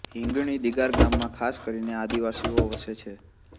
હીંગણી દિગાર ગામમાં ખાસ કરીને આદિવાસીઓ વસે છે